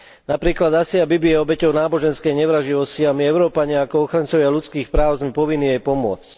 Napríklad Asia Bibi je obeťou náboženskej nevraživosti a my Európania ako ochrancovia ľudských práv sme povinní jej pomôcť.